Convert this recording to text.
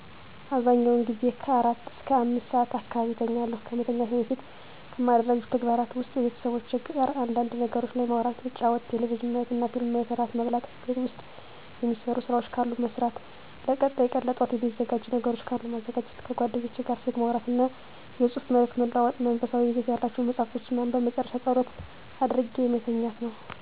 አብዛኛውን ጊዜ ከአራት እስከ አምስት ሰዓት አካባቢ እተኛለሁ። ከመተኛቴ በፊት ከማደርጋቸው ተግባራት ውስጥ ከቤተሰቦቼ ጋር አንዳንድ ነገሮች ላይ ማውራት መጫወት ቴሌቪዥን ማየትና ፊልም ማየት እራት መብላት ቤት ውስጥ የሚሰሩ ስራዎች ካሉ መስራት ለቀጣይ ቀን ለጠዋት የሚዘጋጅ ነገሮች ካሉ ማዘጋጀት ከጓደኞቼ ጋር ስልክ ማውራትና የፅሁፍ መልዕክት መለዋወጥ መንፈሳዊ ይዘት ያላቸውን መፃሀፍቶችን ማንበብ በመጨረሻ ፀሎት አድርጌ መተኛት ነው።